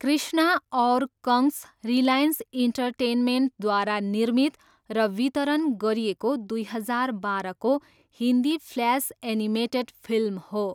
कृष्णा और कंश रिलायन्स इन्टरटेनमेन्टद्वारा निर्मित र वितरण गरिएको दुई हजार बाह्रको हिन्दी फ्ल्यास एनिमेटेड फिल्म हो।